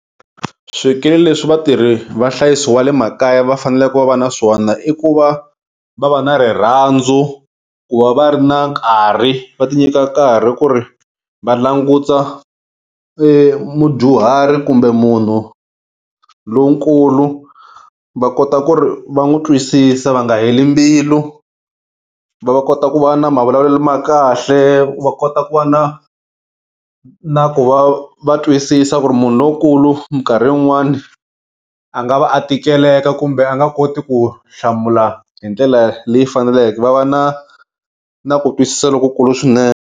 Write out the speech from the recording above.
Swikili leswi vatirhi va nhlayiso wa le makaya va faneleke va va na swona i ku va va va na rirhandzu ku va va ri na nkarhi va ti nyika karhi ku ri va languta mudyuhari kumbe munhu lonkulu va kota ku ri va n'wi twisisa va nga heli mbilu va kota ku va na mavulavulelo ya kahle va kota ku va na na ku va va twisisa ku ri munhu lonkulu minkarhi yin'wani a nga va a tikileka kumbe a nga koti ku hlamula hi ndlela leyi faneleke va va na na ku twisisa lokukulu swinene.